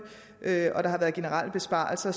og der har været generelle besparelser